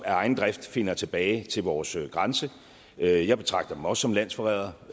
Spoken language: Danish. egen drift finder tilbage til vores grænse jeg jeg betragter dem også som landsforrædere